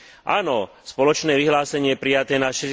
Áno, spoločné vyhlásenie prijaté na